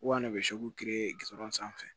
Wa ne bɛ kiri gudɔrɔn sanfɛ